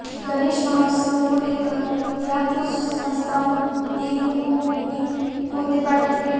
गणेश महोत्सव को लेकर यहां कुछ संस्थाओं ने लोगों में पौधे बांटे